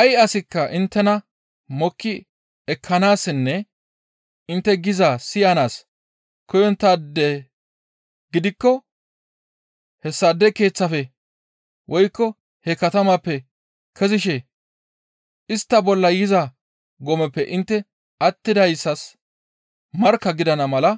Ay asikka inttena mokki ekkanaassinne intte gizaa siyanaas koyonttaade gidikko hessaade keeththafe woykko he katamaappe kezishe istta bolla yiza gomeppe intte attidayssas markka gidana mala